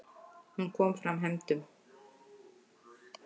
Hún komi fram hefndum.